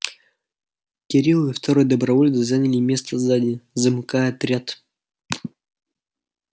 кирилл и второй доброволец заняли место сзади замыкая отряд